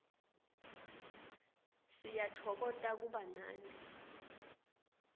siyatfokota kuba nani